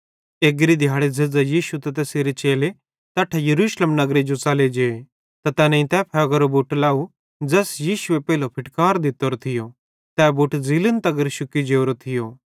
एग्री दिहाड़ी झ़ेज़्झ़ां यीशु त तैसेरे चेले तैट्ठां यरूशलेम नगरे जो च़ले त तैनेईं तै फ़ेगेरो बुट लाव ज़ैस यीशुए पेइले फिटकार दित्तोरो थियो तै बुट ज़ीलन तगर शुक्की जोरो थियो